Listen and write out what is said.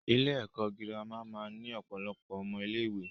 Ilé ẹ̀kọ́ girama máa ń ní ọ̀pọ̀lọpọ̀ ọmọ ilé ìwé.